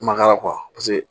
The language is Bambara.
Kumakan paseke